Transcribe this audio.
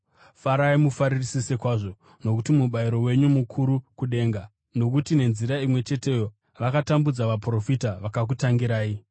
Farai mufarisise kwazvo nokuti mubayiro wenyu mukuru kudenga, nokuti nenzira imwe cheteyo vakatambudza vaprofita vakakutangirai.